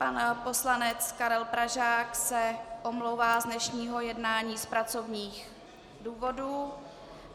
Pan poslanec Karel Pražák se omlouvá z dnešního jednání z pracovních důvodů.